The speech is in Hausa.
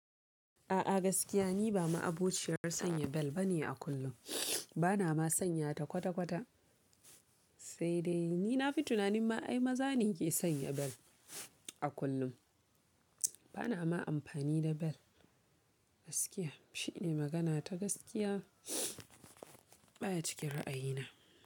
A'a gaskiya ni ba ma abokciyar sanya bel ba ne a kullum, ba na ma sanya ta kwata kwata, sai dai, ni na fi tunanin ma ai maza ne ke sanya bel, a kullum. Ba na ma amfani da bel, gaskiya, shi ne magana ta gaskiya baya cikin ra'ayi na.